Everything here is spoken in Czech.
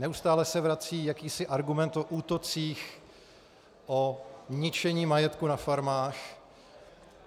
Neustále se vrací jakýsi argument o útocích, o ničení majetku na farmách.